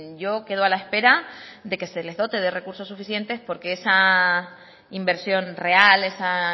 yo quedo a la espera de que se les dote de recursos suficientes porque esa inversión real esa